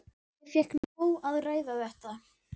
Ég fékk nóg af að ræða þetta.